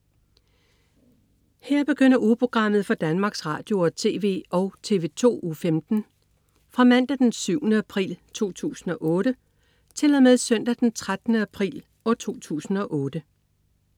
Her begynder ugeprogrammet for Danmarks Radio- og TV og TV2 Uge 15 Fra Mandag den 7. april 2008 Til Søndag den 13. april 2008